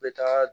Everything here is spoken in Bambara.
N bɛ taga